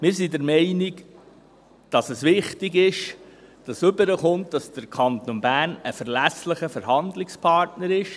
Wir sind der Meinung, dass es wichtig ist, dass rüberkommt, dass der Kanton Bern ein verlässlicher Verhandlungspartner ist.